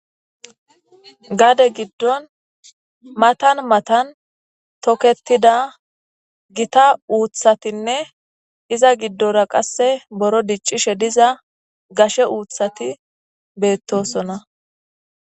Gade giddon matan matan toketida gita uuththatinne iza giddora qasse buro diccishe diza gashe uuththati beettosona.